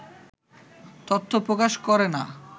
তথ্য প্রকাশ করে না